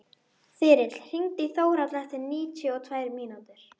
Þyrill, hringdu í Þórhalla eftir níutíu og tvær mínútur.